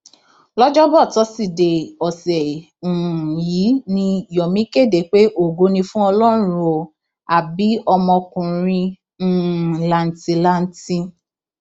lọjọbọ tọsídẹẹ ọsẹ um yìí ni yomi kéde pé ògo ni fún ọlọrun ó á bí ọmọkùnrin um làǹtìlanti